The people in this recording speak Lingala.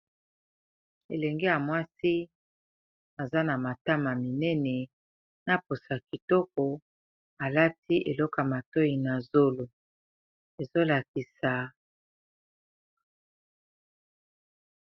Elenge ya mwasi aza na matama minene na poso kitoko, alati eloko matoyi na zolo ezolakisa.